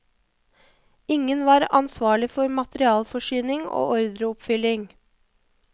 Ingen var ansvarlig for materialforsyning og ordreoppfylling.